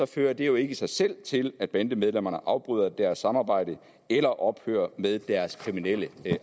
fører det jo ikke i sig selv til at bandemedlemmer afbryder deres samarbejde eller ophører med deres kriminelle